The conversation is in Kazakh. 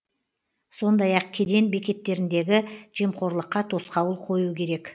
сондай ақ кеден бекеттеріндегі жемқорлыққа тосқауыл қою керек